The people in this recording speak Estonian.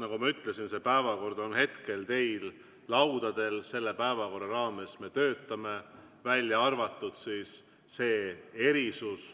Nagu ma ütlesin, see päevakord on teil laudadel, selle päevakorra raames me töötame, välja arvatud see erisus